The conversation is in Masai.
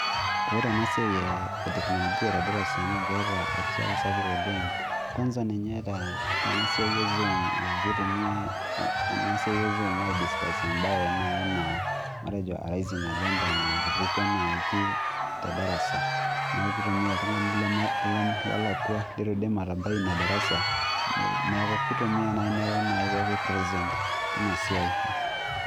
Ore ena siai etekinolojia tedarasa naa keeta erishata SAPUK oleng', kwansa ninye tena siai ezuum aa keitumiai ena siai ezuum aa keitumiai aidisikasie esiai naii naa matejo aa ajenta natupukuo naaji tedarasa neaku keitumia oltung'ani lolakwa leitu edim atabai Ina darasa neaku keitumia naaji neaku pookin present teina siai